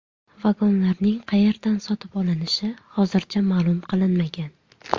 Vagonlarning qayerdan sotib olinishi hozircha ma’lum qilinmagan.